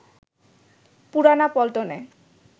পুরানা পল্টনে